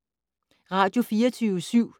Radio24syv